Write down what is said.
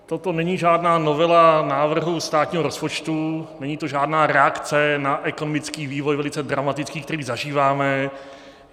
Toto není žádná novela návrhu státního rozpočtu, není to žádná reakce na ekonomický vývoj, velice dramatický, který zažíváme.